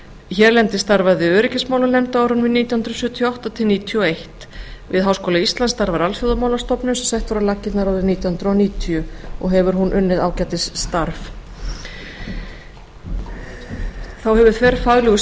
hérlendis starfaði öryggismálanefnd á árunum nítján hundruð sjötíu og átta til nítján hundruð níutíu og eitt við háskóla íslands starfar alþjóðamálastofnun sem sett var á laggirnar árið nítján hundruð níutíu og hefur hún unnið ágætis starf þá hefur þverfaglegur